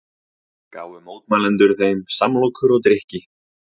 Gáfu mótmælendur þeim samlokur og drykki